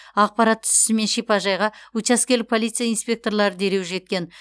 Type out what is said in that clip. ақпарат түсісімен шипажайға учаскелік полиция инспекторлары дереу жеткен